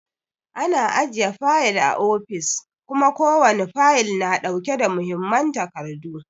Ana ajiye fayil a ofis kuma ko wani fayil na ɗauke da muhimman takardu.